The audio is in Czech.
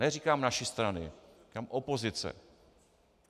Neříkám naší strany, říkám opozice.